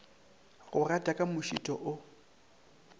go gata ka mošito o